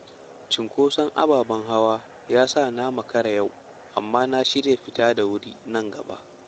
Cunkoson ababen hawa ya sa na makara yau, amma na shirya fita da wuri nan gaba.